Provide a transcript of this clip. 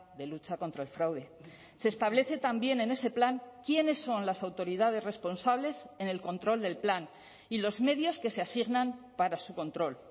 de lucha contra el fraude se establece también en ese plan quiénes son las autoridades responsables en el control del plan y los medios que se asignan para su control